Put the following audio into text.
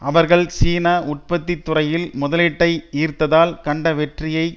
அவர்கள் சீனா உற்பத்தி துறையில் முதலீட்டை ஈர்த்ததால் கண்ட வெற்றியை